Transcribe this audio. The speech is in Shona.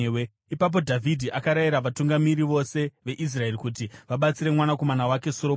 Ipapo Dhavhidhi akarayira vatungamiri vose veIsraeri kuti vabatsire mwanakomana wake Soromoni.